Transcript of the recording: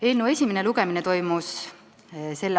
Eelnõu esimene lugemine toimus s.